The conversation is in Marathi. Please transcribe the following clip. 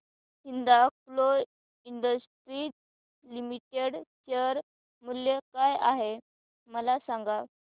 हिंदाल्को इंडस्ट्रीज लिमिटेड शेअर मूल्य काय आहे मला सांगा